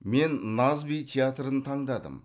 мен наз би театрын таңдадым